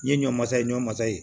N ye ɲɔmasa ye ɲɔ masa ye